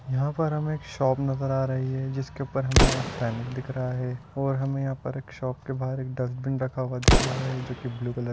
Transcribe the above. यहाँ पर हमे एक शॉप नजर आ रहीं हैं जिसके ऊपर हमे एक बैनर दिख रहा हैं और हमे यहाँ शॉप के बाहर एक डस्टबिन रखा हुआ दिख रहा हैं जो की ब्लू-कलर --